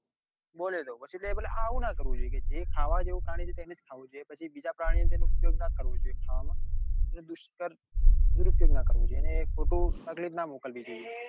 બોલ્યો તો પસી કે આવું ના કરવું જોઈએ કે જે ખાવા જેવું પ્રાણી છે તેને જ ખાવું જોઈએ પછી બીજા પ્રાણીઓ નો ઉપયોગ ના કરવો જોઈએ ખાવામાં એટલે દુષ્કર દુરુપયોગ ના કરવો જોઈએ એને એ ખોટું એ તકલીફ ના મોકલવી જોઈએ.